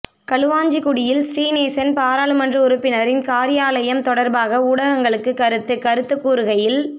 களுவாஞ்சிகுடியில் ஶ்ரீநேசன் பாராளுமன்ற உறுப்பினரின் காரியாலயம் தொடர்பாக ஊடகங்களுக்கு கருத்து கருத்து கூறுகையில்